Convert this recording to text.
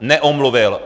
Neomluvil.